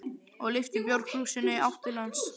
og lyfti bjórkrúsinni í átt til hans.